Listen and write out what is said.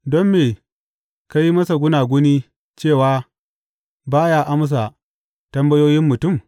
Don me ka yi masa gunaguni cewa ba ya amsa tambayoyin mutum?